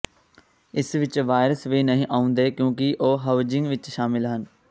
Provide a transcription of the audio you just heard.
ਇਸ ਵਿੱਚ ਵਾਇਰਸ ਵੀ ਨਹੀਂ ਆਉਂਦੇ ਕਿਉਂਕਿ ਉਹ ਹਾਉਜ਼ਿੰਗ ਵਿੱਚ ਸ਼ਾਮਲ ਹਨ